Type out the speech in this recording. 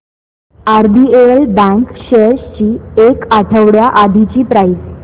RBL bank shares ची एक आठवड्या आधीची प्राइस